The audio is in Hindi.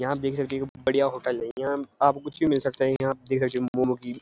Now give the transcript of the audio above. यहाँ देख सकते हो बड़िया होटल है यहाँ आपको कुछ भी मिल सकता है यहाँ देख सकते हैं मोमो कि --